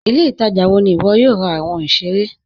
Ilẹ̀-ìtaja wọ̀ ní iwọ yóò rà awọn ìṣẹ̀rẹ̀ láti?